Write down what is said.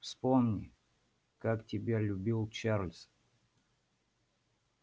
вспомни как тебя любил чарлз